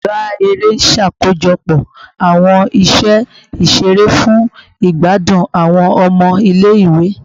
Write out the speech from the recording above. Ọga ere n ṣakojọpọ awọn iṣẹ iṣere fun igbadun awọn ọmọ ile-iwe